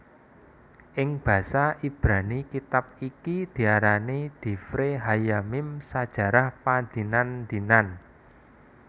Ing basa Ibrani kitab iki diarani divre hayyamim sajarah padinan dinan